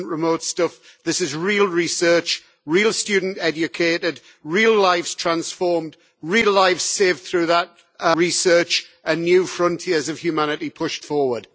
This is not remote stuff, this is real research, real students educated, real lives transformed, real lives saved through that research, and new frontiers of humanity pushed forward.